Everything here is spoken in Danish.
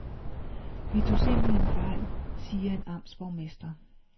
Vi tog simpelthen fejl, siger en amtsborgmester.